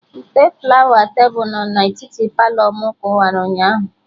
Ite flawa tebụl no na etiti Palọ mụ kụwara ụnyaahụ